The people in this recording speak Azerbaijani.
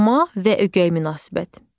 Doğma və ögey münasibət.